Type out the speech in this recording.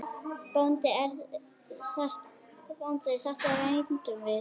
BÓNDI: Þetta reyndum við!